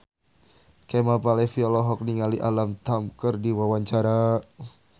Kemal Palevi olohok ningali Alam Tam keur diwawancara